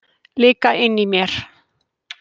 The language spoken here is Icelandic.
Líka inni í mér.